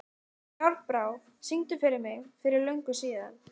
Járnbrá, syngdu fyrir mig „Fyrir löngu síðan“.